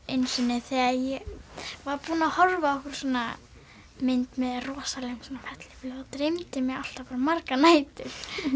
einu sinni þegar ég var búin að hofa á einhverja svona mynd með rosalegum fellibyl þá dreymdi mig alltaf bara margar nætur